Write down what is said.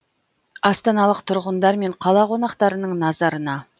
астаналық тұрғындар мен қала қонақтарының назарына